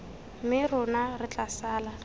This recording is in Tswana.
mme rona re tla sala